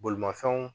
Bolimafɛnw